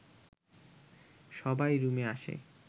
সবাই রুমে আসে